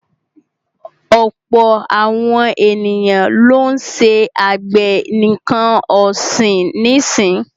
Ọ̀pọ̀ àwọn ènìyàn lọ́ ń ṣe àgbẹ̀ nǹkan ọ̀sìn nísì.